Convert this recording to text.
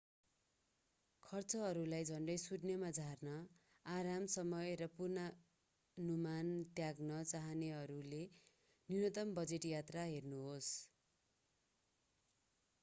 खर्चहरूलाई झन्डै शुन्यमा झार्न आराम समय र पूर्वानुमान त्याग्न चाहनेहरूले न्यूनतम बजेट यात्रा हेर्नुहोस्